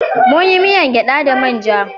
Munyi miyan gyada da manja